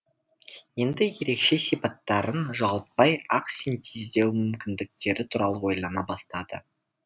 енді ерекше сипаттарын жоғалтпай ақ синтездеу мүмкіндіктері туралы ойлана бастады